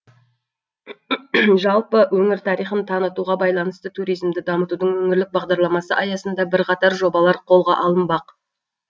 жалпы өңір тарихын танытуға байланысты туризмді дамытудың өңірлік бағдарламасы аясында бірқатар жобалар қолға алынбақ